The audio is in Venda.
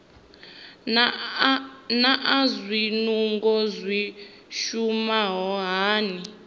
naa zwinungo zwi shuma hani